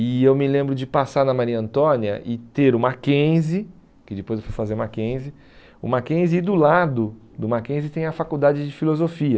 E eu me lembro de passar na Maria Antônia e ter o Mackenzie, que depois eu fui fazer o Mackenzie, o Mackenzie e do lado do Mackenzie tem a faculdade de filosofia.